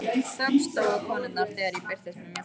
Þögn sló á konurnar þegar ég birtist með mjólkina.